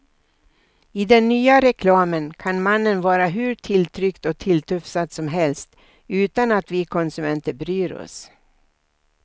I den nya reklamen kan mannen vara hur tilltryckt och tilltufsad som helst utan att vi konsumenter bryr oss.